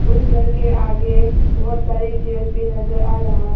घर के आगे बहोत सारे चेयर्स भी नजर आ रहा--